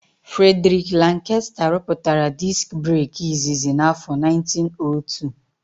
Fredriki Lankesta rụpụtara diski breki izizi n'áfọ 1902.